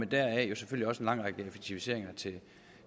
der jo selvfølgelig også lang række effektiviseringer